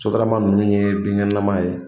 Sotarama ninnu ye binkɛnɛlama ye